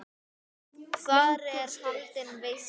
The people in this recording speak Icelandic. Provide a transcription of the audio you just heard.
Þar er haldin veisla.